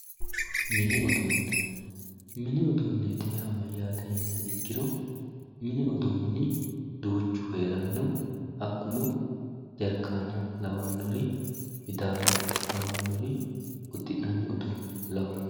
Mini udune, mini uduuneti yaa mayyate yiniha ikkiro duuchu heerano hakkuno jarkana kawanori midano lawanori uddi'nannire lawanori.